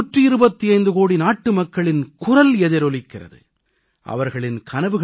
செங்கோட்டையில் 125 கோடி நாட்டுமக்களின் குரல் எதிரொலிக்கிறது